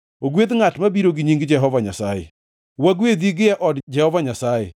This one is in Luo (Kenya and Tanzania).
Ogwedh ngʼat mabiro gi nying Jehova Nyasaye. Wagwedhi gie od Jehova Nyasaye.